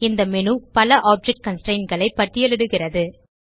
இந்த மேனு பல ஆப்ஜெக்ட் constraintகளை பட்டியலிடுகிறது